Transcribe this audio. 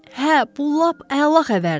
Hə, bu lap əla xəbərdir.